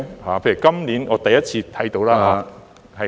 例如今年我第一次看到......